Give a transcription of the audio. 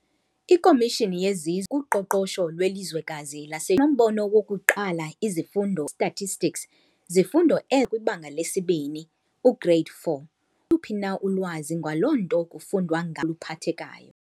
Ikomishini yezizwe kuqoqosho lwelizwekazi, nombono wokuqala izifundo stastistics, zifundo kwibanga lesi-2, u-grade 4, phi na ulwazi ngaloo nto kufundwa luphathekayo.